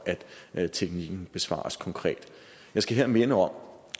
at teknikken besvares konkret jeg skal her minde om